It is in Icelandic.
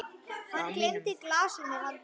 Hann gleymdi glasinu handa mér.